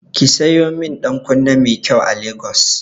Ki sayo min ɗankunne mai kyai a Lagos.